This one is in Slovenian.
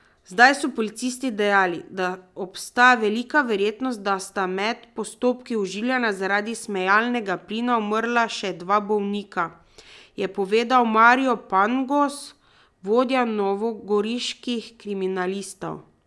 Zdaj so policisti dejali, da obstaja velika verjetnost, da sta med postopki oživljanja zaradi smejalnega plina umrla še dva bolnika, je povedal Marino Pangos, vodja novogoriških kriminalistov.